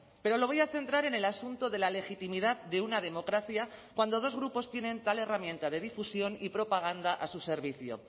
pero lo voy a centrar en el asunto de la legitimidad de una democracia cuando dos grupos tienen tal herramienta de difusión y propaganda a su servicio